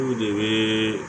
Olu de ye